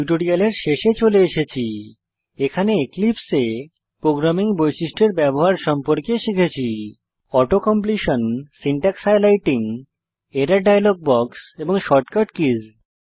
টিউটোরিয়ালের শেষে চলে এসেছি এখানে এক্লিপসে এ প্রোগ্রামিং বৈশিষ্ট্য এর ব্যবহার সম্পর্কে শিখেছি auto completion syntax highlighting error dialog box এবং শর্টকাট কিস